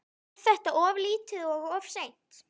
En er þetta of lítið og of seint?